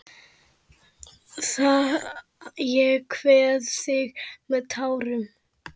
Ég kveð þig með tárum.